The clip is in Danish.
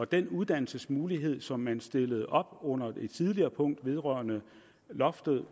den uddannelsesmulighed som man stillede op under et tidligere punkt vedrørende